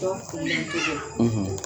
Dɔw filɛli cogow